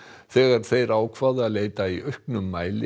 þegar þeir ákváðu að leita í auknum mæli